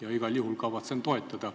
... ja igal juhul kavatsen seda toetada.